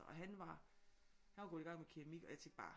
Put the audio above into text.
Og han var han var gået i gang med keramik og jeg tænkte bare